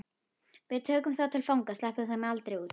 Við tökum þá til fanga. sleppum þeim aldrei út.